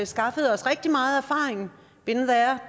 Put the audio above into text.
skaffet os rigtig meget erfaring been there